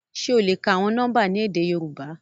Ṣe o le ka awọn nọmba ni édé Yorùbá?